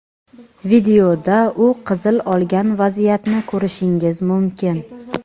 Videoda u qizil olgan vaziyatni ko‘rishingiz mumkin.